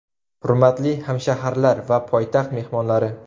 Hurmatli hamshaharlar va poytaxt mehmonlari!